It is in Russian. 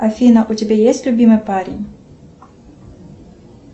афина у тебя есть любимый парень